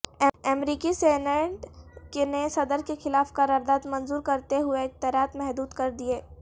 امریکی سینیٹ نے صدر کیخلاف قرارداد منظور کرتے ہوئے اختیارات محدود کردیئے